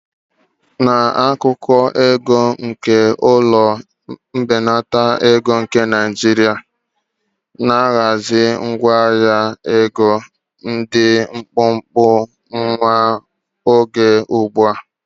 N'akụkọ ego nke ụlọ mbelata ego nke Naijiria, na ahazi ngwa ahịa ego dị mkpụmkpụ nwa oge ugbu a.